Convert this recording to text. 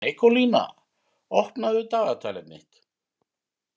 Nikólína, opnaðu dagatalið mitt.